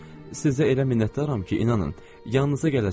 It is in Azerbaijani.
Sizə elə minnətdaram ki, inanın, yanınıza gələcəm.